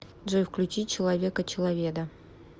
джой включи человека человеда